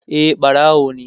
Eh, ɓarawo ne